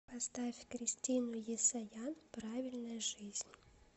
поставь кристину есаян правильная жизнь